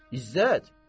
İzzət!